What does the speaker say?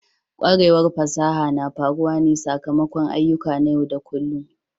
Kwarewar fasaha na faruwa ne sakamakon ayyuka na yau da kullun.